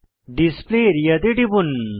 display area তে টিপুন